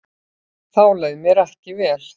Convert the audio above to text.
Þá leið mér ekki vel.